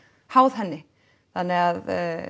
háð henni þannig að